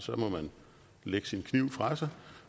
må man lægge sin kniv fra sig